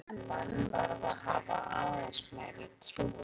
Það er mikill fótbolti en menn verða að hafa aðeins meiri trú á sér.